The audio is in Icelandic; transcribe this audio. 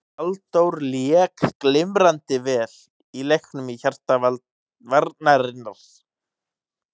Halldór lék glimrandi vel í leiknum í hjarta varnarinnar.